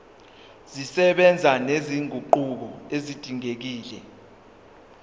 zisebenza nezinguquko ezidingekile